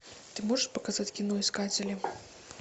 ты можешь показать кино искатели